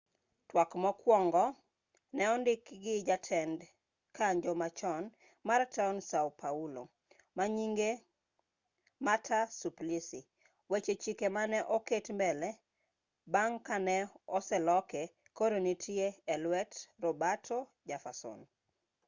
twak mokwongo ne odikgi jatend kanjo machon mar taon sao paulo manyinge marta suplicy weche chike mane oket mbele bang' ka ne oseloke koro nitie e luet roberto jefferson